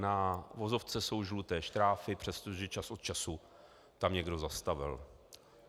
Na vozovce jsou žluté štráfy, přestože čas od času tam někdo zastavil.